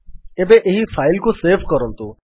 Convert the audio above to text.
ଏବେ ଏହି ଫାଇଲ୍ କୁ ସେଭ୍ କରନ୍ତୁ